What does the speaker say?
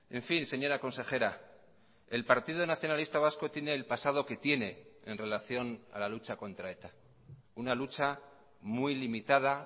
en fin señora consejera el partido nacionalista vasco tiene el pasado que tiene en relación a la lucha contra eta una lucha muy limitada